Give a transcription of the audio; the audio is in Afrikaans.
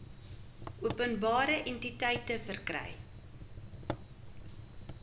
openbare entiteite verkry